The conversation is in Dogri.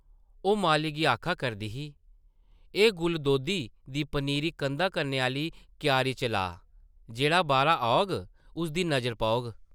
ओह् माली गी आखा करदी ही, एह् गुलदोधी दी पनीरी कंधा कन्नै आह्ली क्यारी च लाऽ, जेह्ड़ा बाह्रा औग उसदी नज़र पौग ।